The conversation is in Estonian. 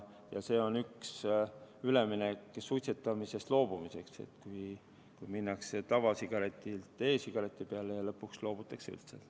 Ja see on üks üleminek suitsetamisest loobumiseks, kui minnakse tavasigaretilt e-sigareti peale ja lõpuks loobutakse üldse.